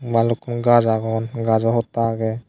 balukkun gaz agon gazo hotta agey.